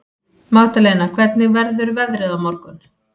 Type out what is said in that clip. Magdalena, hvernig verður veðrið á morgun?